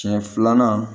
Siɲɛ filanan